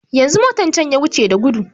Yanzu motan can ya wuce da gudu